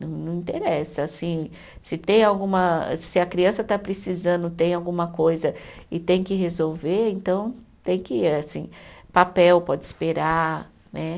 Não não interessa, assim, se tem alguma, se a criança está precisando, tem alguma coisa e tem que resolver, então tem que ir, eh assim, papel pode esperar, né?